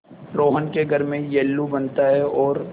रोहन के घर में येल्लू बनता है और